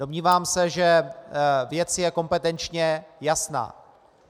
Domnívám se, že věc je kompetenčně jasná.